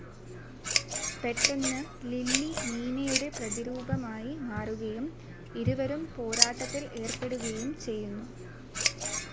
പെട്ടെന്ന് ലിലി നീനയുടെ പ്രതിരൂപമായി മാറുകയും ഇരുവരും പോരാട്ടത്തിൽ ഏർപ്പെടുകയും ചെയ്യുന്നു.